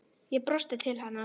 Ég brosti til hennar.